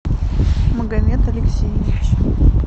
магомед алексеевич